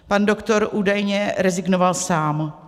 Pan doktor údajně rezignoval sám.